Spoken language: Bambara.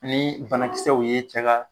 Ni banakisɛw ye cɛ ka